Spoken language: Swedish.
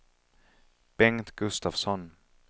Bengt Gustafsson